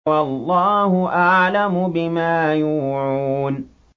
وَاللَّهُ أَعْلَمُ بِمَا يُوعُونَ